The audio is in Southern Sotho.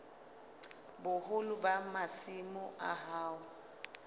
boholo ba masimo a hao